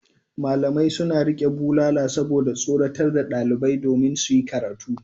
Malamai suna riƙe bulala saboda tsorata ɗalibai domin su yi karatu.